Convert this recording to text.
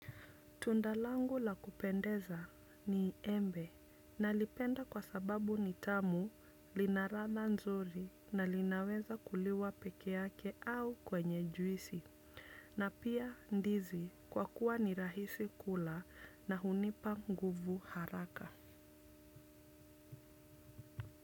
Tunda langu la kupendeza ni embe nalipenda kwa sababu nitamu linaladha nzuri na linaweza kuliwa pekee yake au kwenye juisi na pia ndizi kwa kuwa ni rahisi kula na hunipa nguvu haraka.